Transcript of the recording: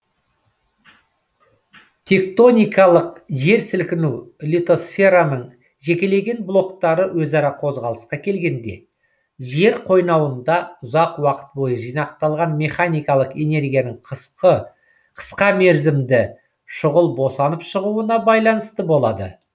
тектоникалық жерсілкіну литосфераның жекелеген блоктары өзара қозғалысқа келгенде жер қойнауында ұзақ уақыт бойы жинақталған механикалық энергияның қысқа мерзімде шұғыл босанып шығуына байланысты болады